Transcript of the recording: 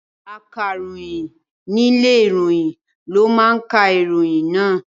Akàròyìn ní ilé ìròyìn ló máa ka ìròyìn náà.